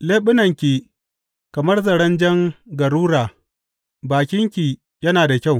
Leɓunanki kamar zaren jan garura bakinki yana da kyau.